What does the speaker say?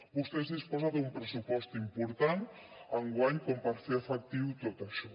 vostè disposa d’un pressupost important enguany com per fer efectiu tot això